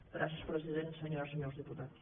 gràcies president senyores i senyors diputats